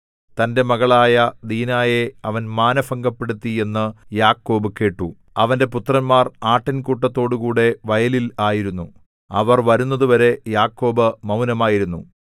തന്റെ മകളായ ദീനായെ അവൻ മാനഭംഗപ്പെടുത്തി എന്നു യാക്കോബ് കേട്ടു അവന്റെ പുത്രന്മാർ ആട്ടിൻകൂട്ടത്തോടുകൂടെ വയലിൽ ആയിരുന്നു അവർ വരുന്നതുവരെ യാക്കോബ് മൗനമായിരുന്നു